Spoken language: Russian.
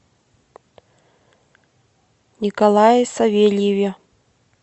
николае савельеве